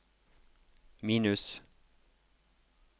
minus